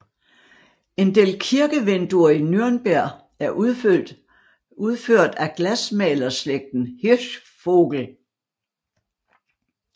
En del kirkevinduer i Nürnberg er udført af glasmalerslægten Hirschvogel